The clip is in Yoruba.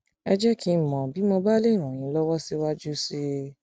ẹ jẹ kí n mọ bí mọ bí mo bá lè ràn yín lọwọ síwájú sí i